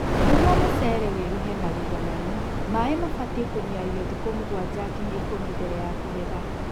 Nĩguo mũcere wĩruhe na uigananu, maĩĩ mabatiĩ kũniario thikũ mũgwanja nginya ikũmi mbele ya kũgetha